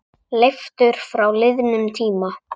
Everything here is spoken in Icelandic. Leiftur frá liðnum tíma.